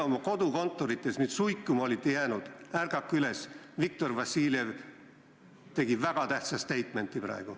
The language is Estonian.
Kui te oma kodukontorites nüüd suikuma olite jäänud, siis ärgake üles, Viktor Vassiljev tegi praegu väga tähtsa statement'i.